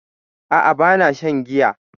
A'a ba na shan giya